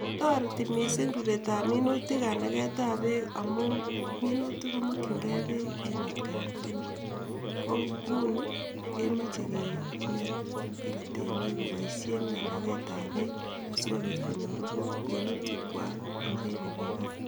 Toreti missing ruret ab minutik kanaket ab bek amun minutik komokin gee peek en atgaan tukul ko kot Nguni komoche kineet temiik kopoishen kanaget ab peek sikopir konyor minutik gwak ruret nemii barak